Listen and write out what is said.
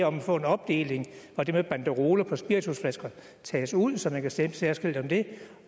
om at få en opdeling og det med banderoler på spiritusflasker tages ud så man kan stemme særskilt om det